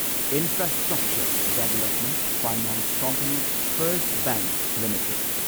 infrastructure development finance company first bank limited